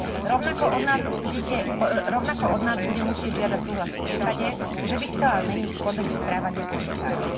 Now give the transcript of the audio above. Rovnako od nás bude musieť žiadať súhlas v prípade, že by chcela meniť Kódex správania komisárov.